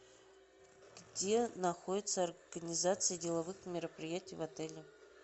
где находится организация деловых мероприятий в отеле